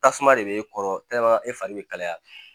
Tasuma de bɛ e kɔrɔ e fari bɛ kalaya